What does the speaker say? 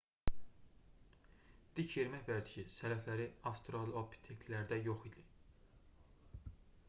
dik yerimək vərdişi sələfləri avstralopiteklərdə yox idi